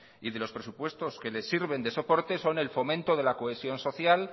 y de los presupuestos que les sirven de soporte son el fomento de la cohesión social